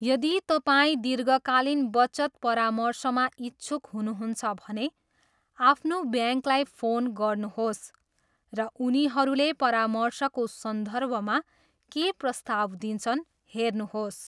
यदि तपाईँ दीर्घकालीन बचत परामर्शमा इच्छुक हुनुहुन्छ भने, आफ्नो ब्याङ्ककलाई फोन गर्नुहोस् र उनीहरूले परामर्शको सन्दर्भमा के प्रस्ताव दिन्छन् हेर्नुहोस्।